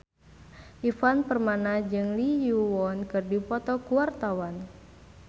Ivan Permana jeung Lee Yo Won keur dipoto ku wartawan